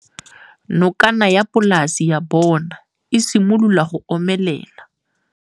Nokana ya polase ya bona, e simolola go omelela.